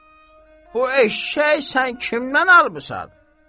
Bu eşşək sən kimdən almısan?